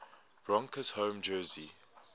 broncos home jersey